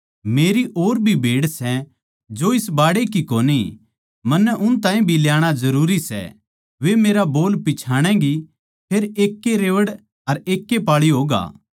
मेरी और भी भेड़ सै जो इस बाड़े की कोनी मन्नै उन ताहीं भी ल्याणा जरूरी सै वे मेरा बोल पिच्छाणैगी फेर एकैए रेवड़ अर एकैए पाळी होगा